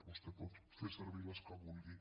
vostè pot fer servir les que vulgui